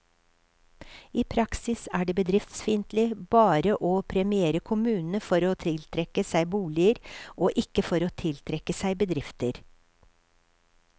I praksis er det bedriftsfiendtlig bare å premiere kommunene for å tiltrekke seg boliger, og ikke for å tiltrekke seg bedrifter.